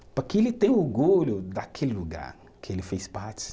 Para que ele tenha orgulho daquele lugar que ele fez parte.